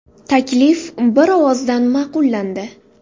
Taklif bir ovozdan ma’qullandi.